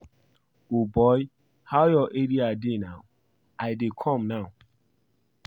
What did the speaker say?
O boy how your area dey now? I dey come now.